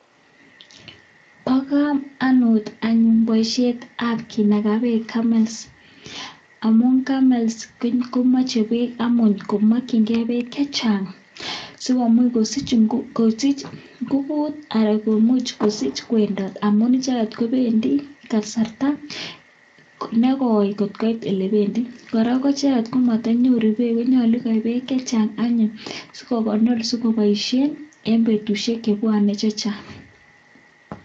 Pakamanuut paisheeet ap kinaga peeeeek asikosuich kowendoot ako koraaa matanyoruuu peeeek ko kondorii peeek kwak